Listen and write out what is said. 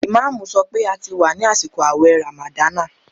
Ìmáàmù sọ pé a ti wà ní àsìkò àwẹ̀ ràmàdánà